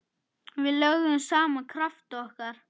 Við lögðum saman krafta okkar.